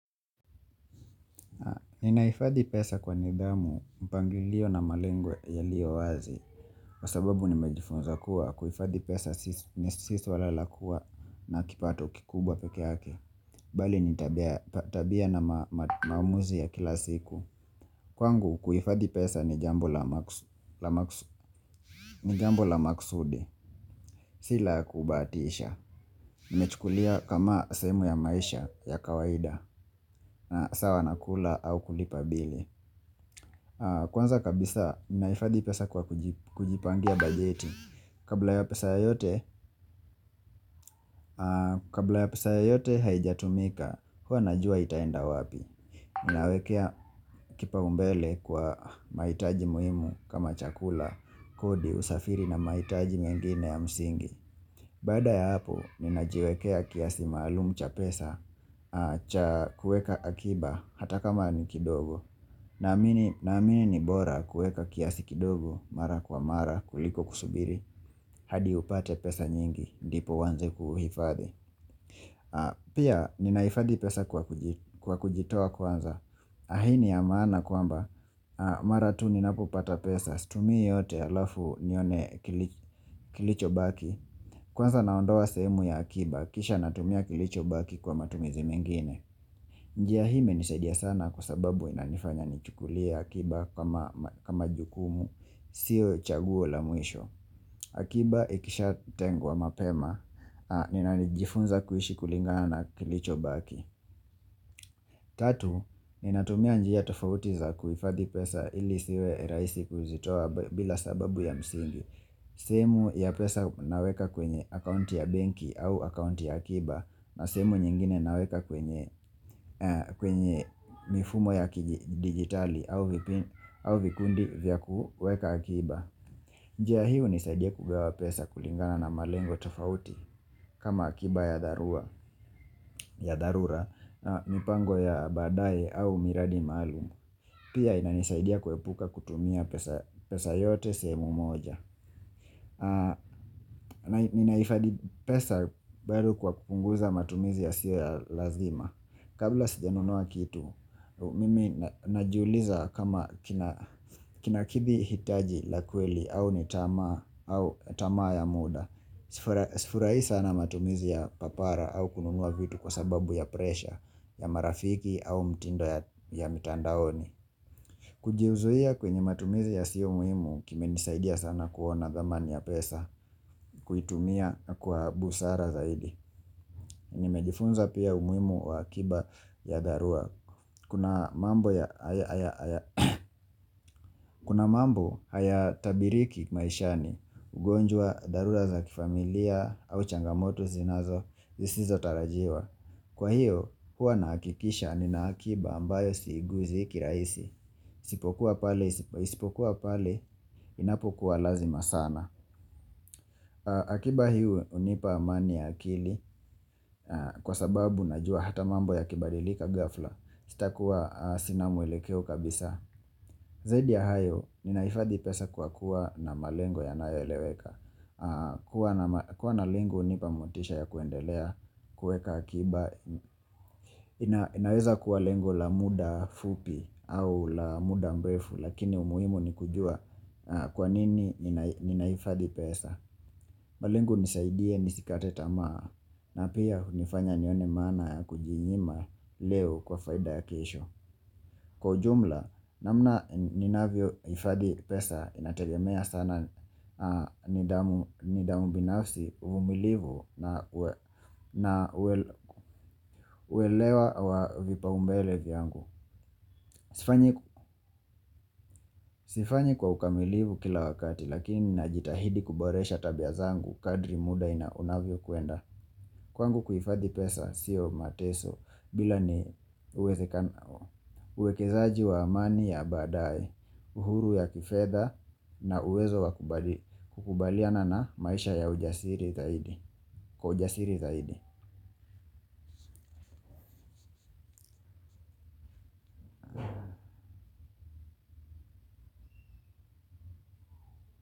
Ninahifadhi pesa kwa nidhamu mpangilio na malengo yaliyo wazi kwa sababu nimejifunza kuwa kuifadhi pesa si swala la kuwa na kipato kikubwa peke yake bali nitabia na maamuzi ya kila siku Kwangu kuifadhi pesa ni jambo la ni jambo la maksudi si la kubahatisha Nimechukulia kama sehermu ya maisha ya kawaida na sawa na kula au kulipa bili, kwanza kabisa ninaifadhi pesa kwa kujipangia bajeti, kabla ya pesa Kabla ya pesa yoyote haijatumika huwa najua itaenda wapi Ninawekea kipau mbele kwa mahitaji muhimu kama chakula, kodi, usafiri na mahitaji mengine ya msingi baada ya hapo ninajiwekea kiasi malumu cha pesa cha kueka akiba hata kama ni kidogo naamini Naamini ni bora kueka kiasi kidogo mara kwa mara kuliko kusubiri hadi upate pesa nyingi ndipo uanze kuhifadhi Pia ninaifathi pesa kwa kujitoa kwanza hii ni ya maana kwamba mara tu ninapopata pesa situmii yote alafu nione kilicho baki Kwanza naondoa sehemu ya akiba kisha natumia kilicho baki kwa matumizi mengine njia hii imenisaidia sana kwa sababu inanifanya ni chukulie akiba kama jukumu, siyo chaguo la muisho. Akiba ikisha tengwa mapema, ninanijifunza kuishi kulingana na kilicho baki. Tatu, ninatumia njia tofauti za kuhifadhi pesa ili isiwe rahisi kuzitowa bila sababu ya msingi. Sehemu ya pesa naweka kwenye akaunti ya banki au akaunti ya akiba na semu nyingine naweka kwenye mifumo ya digitali au vikundi vya kuweka akiba. Njia hii hunisaidia kugawa pesa kulingana na malengo tofauti kama akiba ya dharura na mipango ya badaye au miradi maalumu. Pia inanisaidia kuepuka kutumia pesa yote sehemu moja. Ninaifadhi pesa bado kwa kupunguza matumizi yasio ya lazima Kabla sijanunua kitu Mimi najiuliza kama kinakithi hitaji la kweli au nitama ya muda Sifurai sana matumizi ya papara au kununua vitu kwa sababu ya presha ya marafiki au mtindo ya mitandaoni Kujiuzuia kwenye matumizi yasio muhimu kimenisaidia sana kuona thamani ya pesa kuitumia kwa busara zaidi Nimejifunza pia umuhimu wa akiba ya tharura, kuna mambo Kuna mambo haya tabiriki maishani ugonjwa tharura za kifamilia au changamoto zinazo zisizo tarajiwa, kwa hiyo huwa na hakikisha ni na akiba ambayo siguzi kirahisi isipokuwa pale Sipokuwa pale inapokuwa lazima sana akiba hiyo unipa amani ya akili Kwa sababu najua hata mambo ya kibadilika ghafla Sitakua sina mwelekeo kabisa Zaidi ya hayo, ninahifadhi pesa kwa kuwa na malengo yanayo eleweka kuwa na ma kuwa na lengo hunipa motisha ya kuendelea kueka akiba inaweza kuwa lengo la muda fupi au la muda mrefu Lakini umuhimu ni kujua kwa nini ninahifadhi pesa malengo hunisaidia, nisikate tamaa na pia hunifanya nione mana ya kujinyima leo kwa faida ya kesho kwa ujumla, namna ninavyo hifadhi pesa inategemea sana nidhamu binafsi vumilivu na uwelewa wa vipau mbele vyangu Sifanyi kwa ukamilivu kila wakati lakini najitahidi kuboresha tabia zangu kadri muda inavyo kuenda Kwangu kuhifadhi pesa siyo mateso bila ni uwezekano uwekezaji wa amani ya baadaye, uhuru ya kifedha na uwezo kubaliana na maisha ya ujasiri zaidi. Kwa ujasiri zaidi.